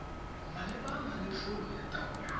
malebana le tlolo ya taolo